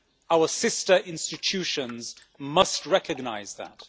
Our sister institutions must recognise that.